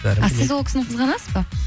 а сіз ол кісіні қызғанасыз ба